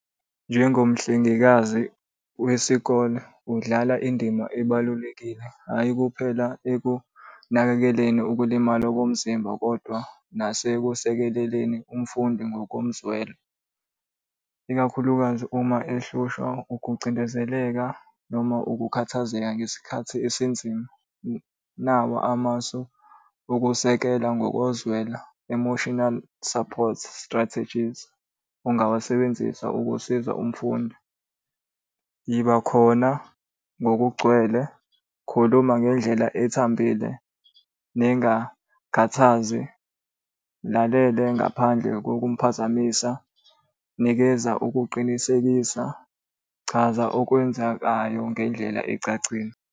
Njengomhlengekazi wesikole udlala indima ebalulekile, hhayi kuphela ekunakekeleni ukulimala komzimba, kodwa nasekusekeleleni umfundi ngokomzwelo, ikakhulukazi uma ehlushwa ukucindezeleka noma ukukhathazeka ngesikhathi esinzima. Nawu amasu okusekela ngokozwelo emotional support strategies. Ungawasebenzisa ukusiza umfundi. Yiba khona ngokugcwele, khuluma ngendlela ethambile, ningakhathazi mulalele ngaphandle kokumphazamisa, nikeza ukuqinisekisa, chaza okwenzakayo ngendlela ecacile.